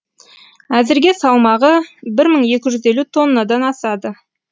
әзірге салмағы бір мың екі жүз елу тоннадан асады